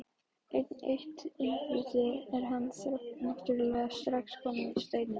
Enn eitt innbrotið og hann náttúrulega strax kominn í Steininn.